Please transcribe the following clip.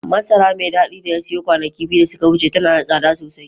Masara mai dadi da ya siyo kwanaki biyu da suka wuce tana da tsada sosai